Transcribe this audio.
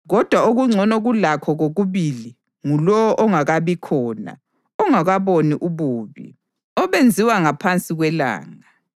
Kodwa okungcono kulakho kokubili ngulowo ongakabikhona, ongakaboni ububi obenziwayo ngaphansi kwelanga.